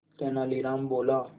तेनालीराम बोला